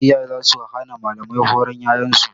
Iyaye za su hana malamai horon ƴaƴan su.